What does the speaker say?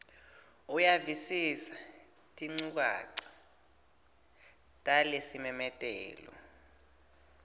uyavisisa tinchukaca talesimemetelo